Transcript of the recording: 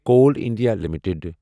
Koul India limited